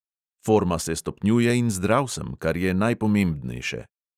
Forma se stopnjuje in zdrav sem, kar je najpomembnejše.